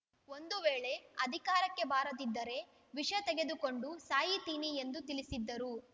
ಒಂದು ವೇಳೆ ಅಧಿಕಾರಕ್ಕೆ ಬಾರದಿದ್ದರೆ ವಿಷ ತೆಗೆದುಕೊಂಡು ಸಾಯಿತೀನಿ ಎಂದು ತಿಳಿಸಿದ್ದರು